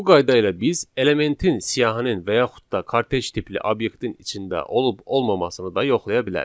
Bu qayda ilə biz elementin siyahının və yaxud da kortec tipli obyektin içində olub olmamasını da yoxlaya bilərik.